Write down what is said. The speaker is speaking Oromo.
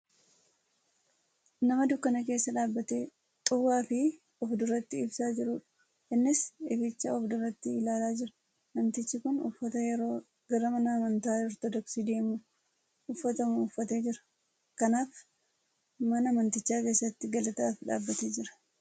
Nama dukkana keessa dhaabatee xuwaafii of duratti ibsaa jirudha. Innis ificha of fulduratti ilaalaa jira. Namtichi kun uffata yeroo gara mana amantaa ortoodoksii deemamu uffatamu uffatee jira. Kanaaf mana amanticha keessatti galataaf dhaabate jira.